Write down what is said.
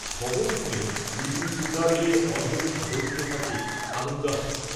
খবর শুনে লিলির দুগাল বেয়ে অঝোরে ঝরতে থাকে আনন্দাশ্রু